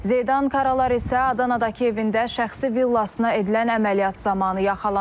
Zeydan Karalar isə Adanadakı evində şəxsi villasına edilən əməliyyat zamanı yaxalanıb.